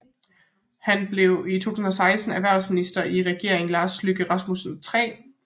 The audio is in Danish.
Han blev i 2016 erhvervsminister igen i Regeringen Lars Løkke Rasmussen III